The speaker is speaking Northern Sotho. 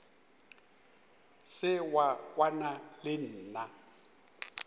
se wa kwana le nna